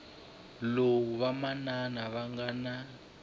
lowu vamanana va nga na